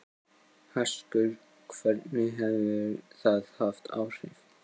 Höskuldur: Hvernig hefur það haft áhrif?